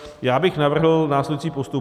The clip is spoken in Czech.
Já bych navrhl následující postup.